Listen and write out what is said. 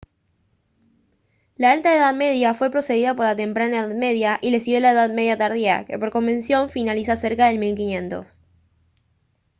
la alta edad media fue precedida por la temprana edad media y le siguió la edad media tardía que por convención finaliza cerca del 1500